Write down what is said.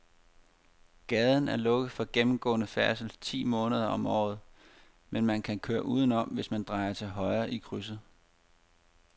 Gaden er lukket for gennemgående færdsel ti måneder om året, men man kan køre udenom, hvis man drejer til højre i krydset.